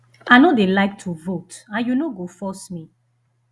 i no dey like to vote and you no go force me